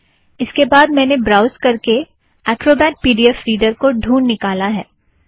इसके बाद मैंने ब्राउज़ करके Acrobat P D F reader को ढूँढ निकाला है